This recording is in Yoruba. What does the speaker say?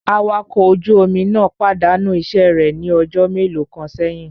Awakọ̀ ọkọ ojú omi náà pàdánù iṣẹ́ rẹ̀ ní ọjọ́ mélòó kan sẹ́yìn